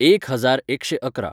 एक हजार एकशें अकरा.